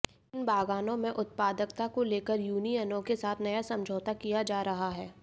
इन बागानों में उत्पादकता को लेकर यूनियनों के साथ नया समझौता किया जा रहा है